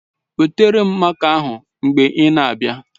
Wetara m máká ahụ mgbe ị na-abịa